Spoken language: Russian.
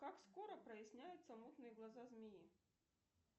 как скоро проясняются мутные глаза змеи